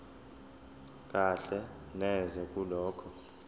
kahle neze kulokho